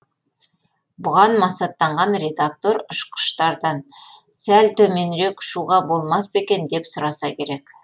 бұған масаттанған редактор ұшқыштардан сәл төменірек ұшуға болмас па екен деп сұраса керек